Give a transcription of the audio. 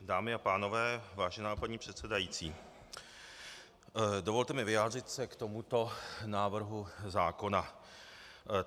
Dámy a pánové, vážená paní předsedající, dovolte mi vyjádřit se k tomuto návrhu zákona.